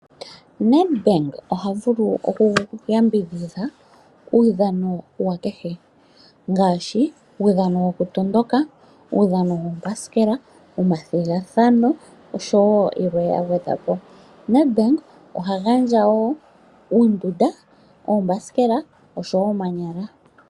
Nedbank ohavulu okuyambidhidha uudhano kehe ngaashi uudhano wokutondoka, uudhano wuuthanguthangu oshowoo yilwe yagwedhwapo . Nedbank oha gandja wo uumbunda, uuthanguthangu oshowoo omanyala.